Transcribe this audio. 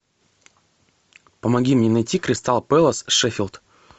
помоги мне найти кристал пэлас шеффилд